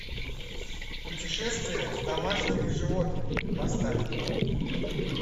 путешествие с домашними животными поставь